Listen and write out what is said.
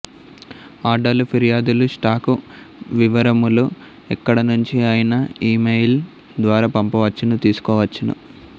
ఆర్డర్లు ఫిర్యాదులు స్టాకు వివరములు ఎక్కడ నుంచి అయినా ఇమెయిల్ ద్వారా పంపవచ్చును తీసుకోవచ్చును